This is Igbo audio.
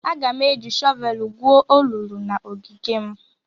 Aga m eji shọvelụ gwuo olulu n'ogige m.